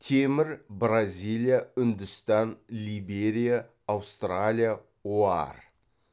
темір бразилия үндістан либерия аустралия оар